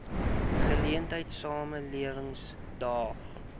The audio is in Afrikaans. geleentheid samelewing daag